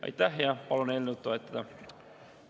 Aitäh ja palun eelnõu toetada!